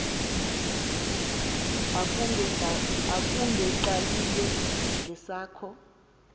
akunge qaleli ngesakho